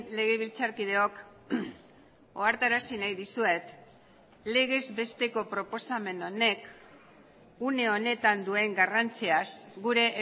legebiltzarkideok ohartarazi nahi dizuet legez besteko proposamen honek une honetan duen garrantziaz gure